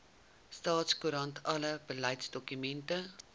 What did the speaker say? staatskoerant alle beleidsdokumente